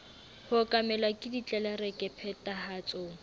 ho okamelwa ke ditlelereke phethahatsong